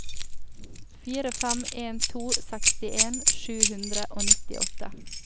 fire fem en to sekstien sju hundre og nittiåtte